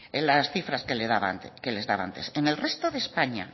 en las cifras que les daba antes en el resto de españa